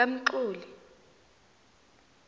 kamxoli